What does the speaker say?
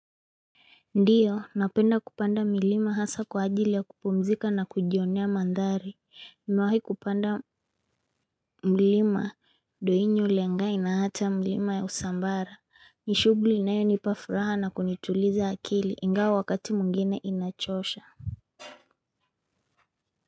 Ndiyo, napenda kupanda milima hasa kwa ajili ya kupumzika na kujionea mandhari. Mewahi kupanda mlima, doinyo lengai na hata milima ya Usambara. Nishugli inayonipa furaha na kunituliza akili, ingawa wakati mwingine inachosha.